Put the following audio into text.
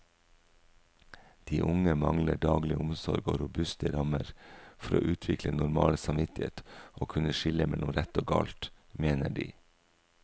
De unge mangler daglig omsorg og robuste rammer for å utvikle normal samvittighet og kunne skille mellom rett og galt, mener de.